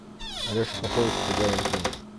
алеша попович и тугарин змей